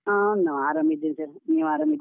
ಹಾ ನಾನು ಆರಾಮಿದ್ದೀನ್ sir , ನೀವು ಆರಾಮಿದ್ದೀರಾ?